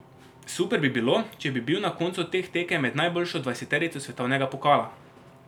Super bi bilo, če bi bil na koncu teh tekem med najboljšo dvajseterico svetovnega pokala.